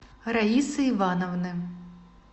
раисы ивановны